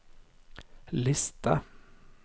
liste